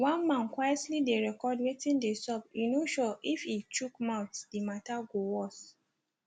one man quietly dey record wetin dey sup e no sure if e chook mouth di matta go worse